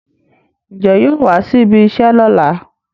Ǹjẹ́ yóò wá síbi iṣẹ́ lọ́la?